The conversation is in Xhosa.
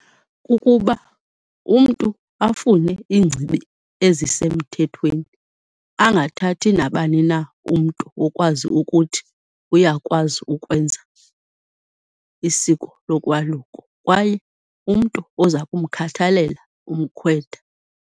Kukuba umntu afune iingcibi ezisemthethweni angathathi nabani na umntu okwazi ukuthi uyakwazi ukwenza isiko lokwaluko kwaye umntu oza kumkhathalela umkhwetha.